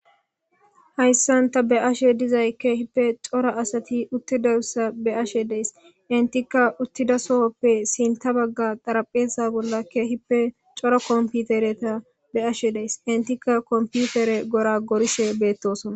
Hayssanta be ashe dizay keehippe cora asati uttideussa be ashe dees intika uttida sohoppe sinta bagga daraphesa bolla keehippe cora komputereta be ashe dees intika komputere gora gorishe beettosona